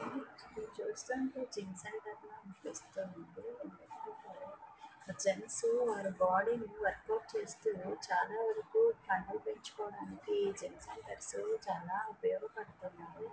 ఇది చూస్తుంటే gym centre లా అనిపిస్తుంది. జెంట్స్ వాళ్ళ బాడీ ని వర్కౌట్ చేస్తూ చాలా వరకు కండలు పెంచుకోవడానికి జిమ్ సెంటర్స్ చాలా ఉపయోగపడుతున్నయ్.